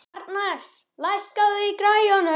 Arnes, lækkaðu í græjunum.